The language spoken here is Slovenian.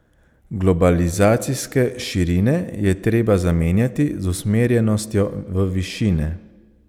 Globalizacijske širine je treba zamenjati z usmerjenostjo v višine.